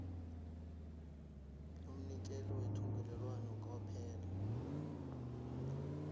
umnikeli wethungelelwano kwaphela